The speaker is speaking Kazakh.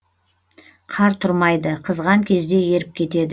қар тұрмайды қызған кезде еріп кетеді